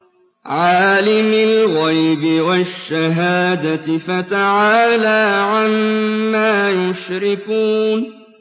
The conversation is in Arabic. عَالِمِ الْغَيْبِ وَالشَّهَادَةِ فَتَعَالَىٰ عَمَّا يُشْرِكُونَ